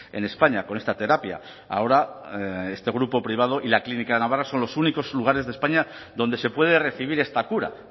en españa con esta terapia ahora este grupo privado y la clínica de navarra son los únicos lugares de españa donde se puede recibir esta cura